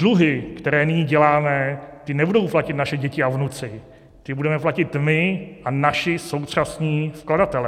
Dluhy, které nyní děláme, ty nebudou platit naše děti a vnuci, ty budeme platit my a naši současní vkladatelé.